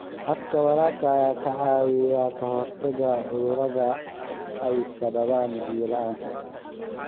Habka waraabka ayaa ka caawiya ka hortagga cudurrada ay sababaan biyo la'aanta.